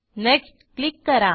next click करा